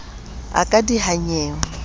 o ka diha nnyeonyeo o